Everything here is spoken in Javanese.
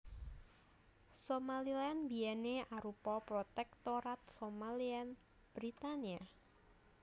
Somaliland biyèné arupa Protektorat Somaliland Britania